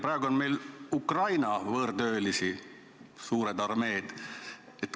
Praegu on meil Ukraina võõrtöölisi suur armee.